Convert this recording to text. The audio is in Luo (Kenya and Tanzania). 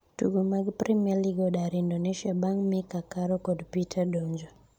Tugo mag premier league odar Indonesia bang' Mika, Caro kod peter donjo